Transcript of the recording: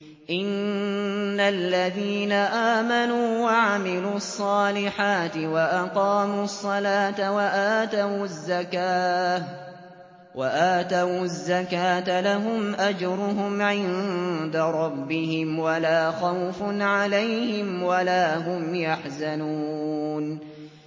إِنَّ الَّذِينَ آمَنُوا وَعَمِلُوا الصَّالِحَاتِ وَأَقَامُوا الصَّلَاةَ وَآتَوُا الزَّكَاةَ لَهُمْ أَجْرُهُمْ عِندَ رَبِّهِمْ وَلَا خَوْفٌ عَلَيْهِمْ وَلَا هُمْ يَحْزَنُونَ